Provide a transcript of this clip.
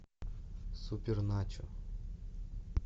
суперначо